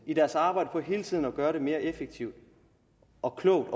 i deres arbejde hele tiden prøver at gøre det mere effektivt og klogt